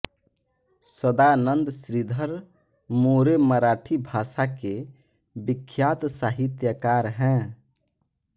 सदानंद श्रीधर मोरे मराठी भाषा के विख्यात साहित्यकार हैं